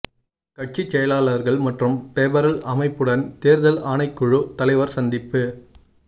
கட்சி செயலாளர்கள் மற்றும் பெபரல் அமைப்புடன் தேர்தல் ஆணைக்குழு தலைவர் சந்திப்பு